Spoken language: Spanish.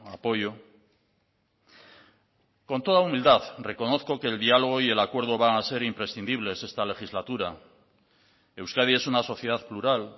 apoyo con toda humildad reconozco que el diálogo y el acuerdo van a ser imprescindibles esta legislatura euskadi es una sociedad plural